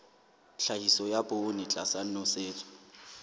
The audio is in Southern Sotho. tlhahiso ya poone tlasa nosetso